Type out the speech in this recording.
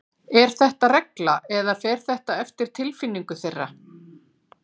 Er þetta regla eða fer þetta eftir tilfinningu þeirra?